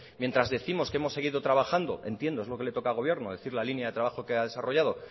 mientras décimos que hemos seguido trabajando entiendo es lo que le toca a gobierno decir la línea de trabajo que ha desarrollado